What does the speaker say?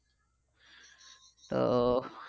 তো